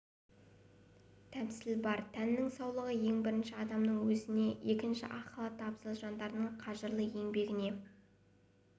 тәмсіл бар тәннің саулығы ең бірінші адамның өзіне екінші ақ халатты абзал жандардың қажырлы еңбегіне